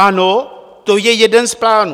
Ano, to je jeden z plánů.